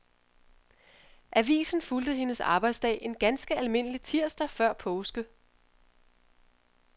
Avisen fulgte hendes arbejdsdag en ganske almindelig tirsdag før påske.